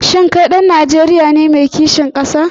Shin kai ɗan Najeriya ne mai kishin ƙasa?